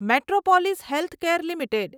Metropolis Healthcare limited